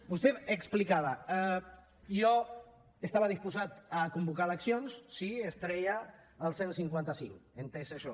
vostè explicava jo estava disposat a convocar eleccions si es treia el cent i cinquanta cinc he entès això